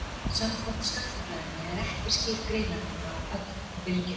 Samkvæmt skammtafræðinni er ekki skýr greinarmunur á ögn og bylgju.